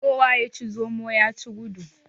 Kowa ya ci zomo ya ci gudu.